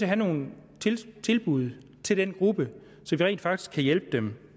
have nogle tilbud til den gruppe så vi rent faktisk kan hjælpe dem